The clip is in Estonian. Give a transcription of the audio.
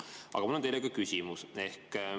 Aga mul on teile küsimus.